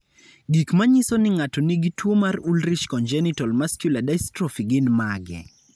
Gik manyiso ni ng'ato nigi tuwo mar Ullrich congenital muscular dystrophy gin mage?